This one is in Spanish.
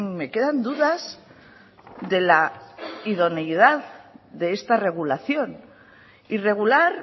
me quedan dudas de la idoneidad de esta regulación y regular